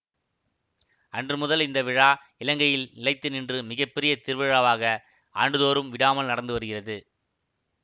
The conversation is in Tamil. அன்று முதல் அந்த விழா இலங்கையில் நிலைத்து நின்று மிக பெரிய திருவிழாவாக ஆண்டு தோறும் விடாமல் நடந்து வருகிறது